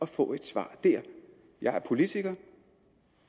få et svar der jeg er politiker